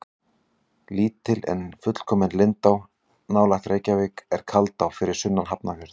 Lítil en fullkomin lindá nálægt Reykjavík er Kaldá fyrir sunnan Hafnarfjörð.